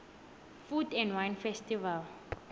food and wine festival